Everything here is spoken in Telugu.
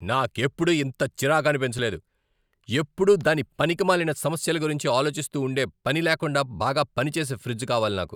నాకెప్పుడూ ఇంత చిరాకనిపించలేదు. ఎప్పుడూ దాని పనికిమాలిన సమస్యల గురించి ఆలోచిస్తూ ఉండే పని లేకుండా బాగా పనిచేసే ఫ్రిజ్ కావాలి నాకు!